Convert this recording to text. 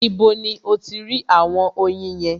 Ibo ni o ti rí àwọn oyin yẹn?